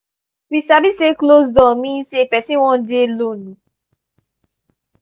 we sabi say closed door mean say person wan dey lone.